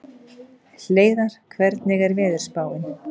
Hleiðar, hvernig er veðurspáin?